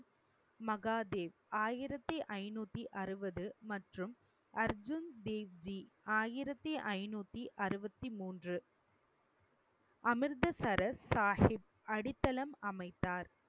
மகாதேவ் ஆயிரத்தி ஐநூத்தி அறுபது, மற்றும் அர்ஜுன் தேவ்ஜி ஆயிரத்து ஐநூத்தி அறுவத்தி மூன்று, அமிர்தசரஸ் சாஹிப் அடித்தளம் அமைத்தார்